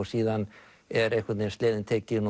síðan er einhvern veginn sleðinn tekinn